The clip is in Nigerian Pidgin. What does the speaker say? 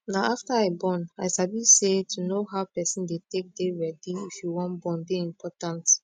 na after i born i sabi say to know how person dey take dey ready if you wan born dey important